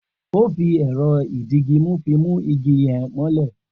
O fi èrọ ìdigimú fi mu igi yen mọ́lè